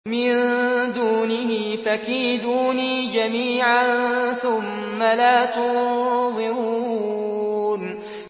مِن دُونِهِ ۖ فَكِيدُونِي جَمِيعًا ثُمَّ لَا تُنظِرُونِ